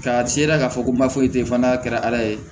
K'a sera k'a fɔ ko man foyi tɛ yen fana n'a kɛra ala ye